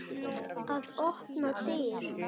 Að opna dyr.